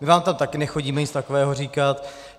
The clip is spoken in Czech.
My vám tam taky nechodíme nic takového říkat.